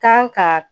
Kan ka